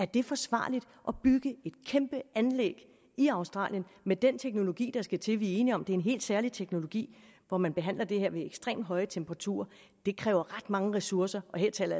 det er forsvarligt at bygge et kæmpe anlæg i australien med den teknologi der skal til vi er enige om at det er en helt særlig teknologi hvor man behandler det her ved ekstremt høje temperaturer det kræver ret mange ressourcer og her taler